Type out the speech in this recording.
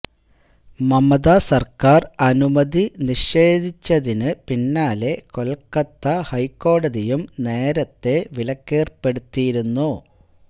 മമത സര്ക്കാര് അനുമതി നിഷേധിച്ചതിന് പിന്നാലെ കൊല്ക്കഥ ഹൈക്കോടതിയും നേരത്തെ വിലക്കേര്പ്പെടുത്തിയിരുന്നു